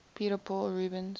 peter paul rubens